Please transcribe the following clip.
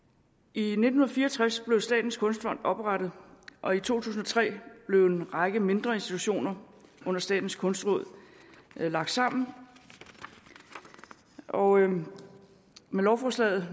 i nitten fire og tres blev statens kunstfond oprettet og i to tusind og tre blev en række mindre institutioner under statens kunstråd lagt sammen og med lovforslaget